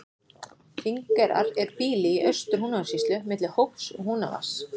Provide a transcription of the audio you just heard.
Þingeyrar er býli í Austur-Húnavatnssýslu milli Hóps og Húnavatns.